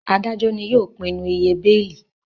Adajọ ní yóò pinnu ìyè beeli